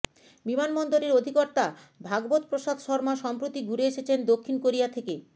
বিমানবন্দরের অধিকর্তা ভাগবতপ্রসাদ শর্মা সম্প্রতি ঘুরে এসেছেন দক্ষিণ কোরিয়া থেকে